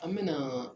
An me na